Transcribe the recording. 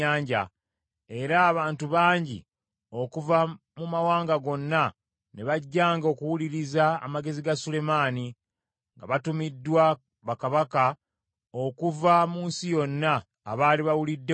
Era abantu bangi okuva mu mawanga gonna ne bajjanga okuwuliriza amagezi ga Sulemaani, nga batumiddwa bakabaka okuva mu nsi yonna, abaali bawulidde ku magezi ge.